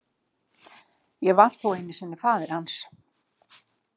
Ég var þó einu sinni faðir hans.